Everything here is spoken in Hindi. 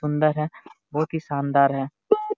सुंदर है बहुत ही शानदार है।